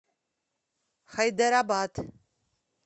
хайдарабад